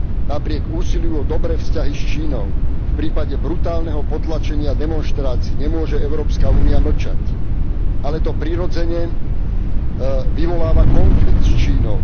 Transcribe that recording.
Napriek úsiliu o dobré vzťahy s Čínou v prípade brutálneho potlačenia demonštrácií nemôže Európska únia mlčať, ale to prirodzene vyvoláva konflikt s Čínou.